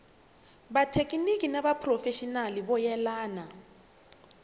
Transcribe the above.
vathekiniki ni vaphurofexinali vo yelana